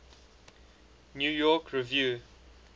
new york review